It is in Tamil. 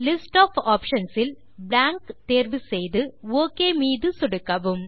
லிஸ்ட் ஒஃப் ஆப்ஷன்ஸ் இல் பிளாங்க் தேர்வு செய்து ஒக் மீது சொடுக்கவும்